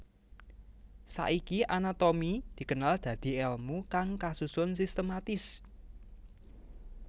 Saiki anatomi dikenal dadi èlmu kang kasusun sistematis